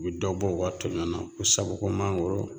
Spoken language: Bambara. U bɛ dɔ bɔ u ka toɲɔ na ko sabu ko mangoro